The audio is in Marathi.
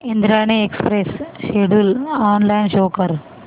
Indrayani express schedule online show कर